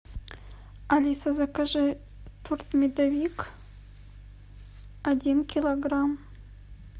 алиса закажи торт медовик один килограмм